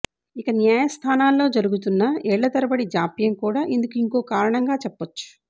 ఇక న్యాయస్థానాల్లో జరుగుతున్న ఏళ్లతరబడి జాప్యంకూడా ఇందుకు ఇంకో కారణంగా చెప్పొచ్చు